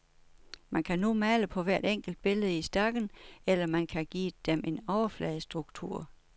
Man kan nu male på hvert enkelt billede i stakken, eller man kan give dem en overfladestruktur.